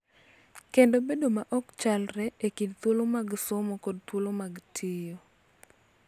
Kendo bedo ma ok chalre e kind thuolo mag somo kod thuolo mag tiyo.